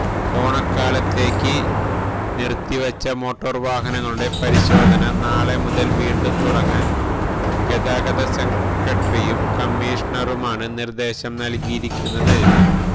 ഓണക്കാലത്തേക്ക് നിര്ത്തി വച്ച മോട്ടോര് വാഹനങ്ങളുടെ പരിശോധന നാളെ മുതല് വീണ്ടും തുടങ്ങാന് ഗതാഗത സെക്രട്ടറിയും കമ്മിഷണറുമാണ് നിര്ദ്ദേശം നല്കിയിരിക്കുന്നത്